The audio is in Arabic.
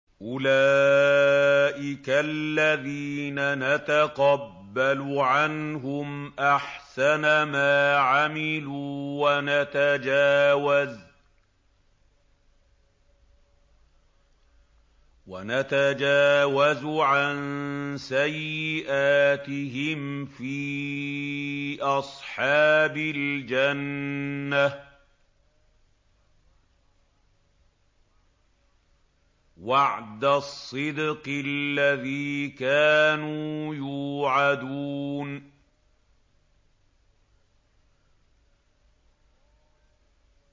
أُولَٰئِكَ الَّذِينَ نَتَقَبَّلُ عَنْهُمْ أَحْسَنَ مَا عَمِلُوا وَنَتَجَاوَزُ عَن سَيِّئَاتِهِمْ فِي أَصْحَابِ الْجَنَّةِ ۖ وَعْدَ الصِّدْقِ الَّذِي كَانُوا يُوعَدُونَ